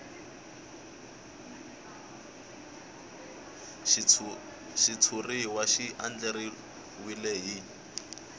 xitshuriwa xi andlariwile hi